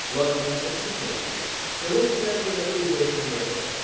Lakin çox çəkmədi ki, Selevkilər dövləti zəifləməyə başladı.